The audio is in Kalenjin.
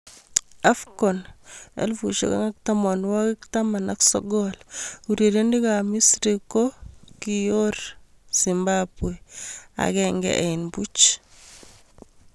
AFCON 2019: Urerenik ab Misri kokioir Zimbabwe 1-0.